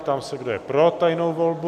Ptám se, kdo je pro tajnou volbu?